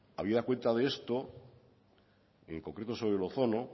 habida cuenta de esto en concreto sobre el ozono